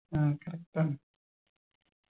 ആ correct ആണ്